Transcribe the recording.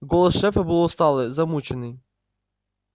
голос шефа был усталый замученный